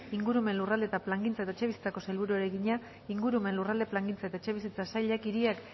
ingurumen lurralde plangintza eta etxebizitzako sailburuari egina ingurumen lurralde plangintza eta etxebizitza sailak hiria